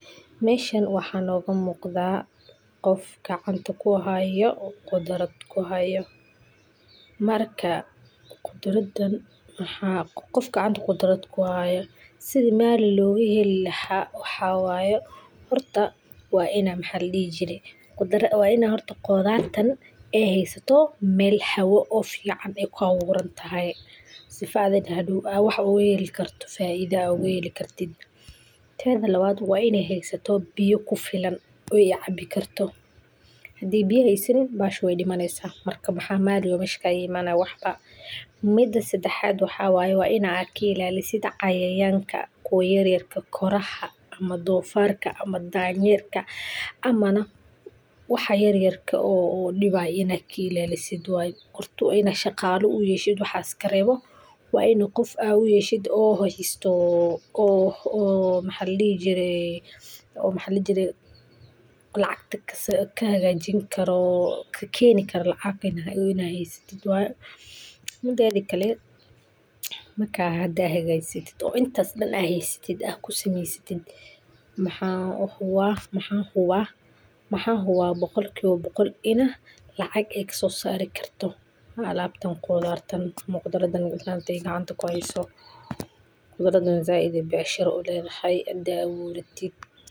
Meshan mxa noga muqda gor gacanta kuhayo kudraad, oo ladoho Brokoli, waxaana beerashadeeda loo baahan yahay in si taxadar leh loo qorsheeyo. Marka la rabo in brokoli la beerto, tallaabada ugu horreysa waa in la doorto goob leh dhul bacrin ah oo si fiican u jiifa isla markaana helaya qorrax toos ah ugu yaraan lix ilaa sided saacadood maalintii. Brokoliga wuxuu jecel yahay ciid leh biyo mareen fiican oo aan biyuhu ka raagin, waxaana lagu horumariyaa ciidda lagu daray humus ama bacriminta dabiiciga ah si ay nafaqo badan ugu hesho. Kahor inta aan la beerin, ciidda waa in la qodo oo loo sii diyaariyaa iyadoo la hubinayo in heer kulkeeda uu ku dhow yahay sided iyo toban dikris herkulka ilaa afar iyo labatan dikris herkulka, waxan hubaa boqolkiba boqol iney lacag kasoi sari karto khudradan gacanta ay kuheysa . Zaid ayey u jeceshahay hadan aburatid .